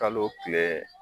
Kalo kile